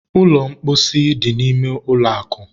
ụlọ mposi dị n'ime ụlọ akụ